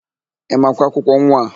Ị makwa akwụkwọ nwa a?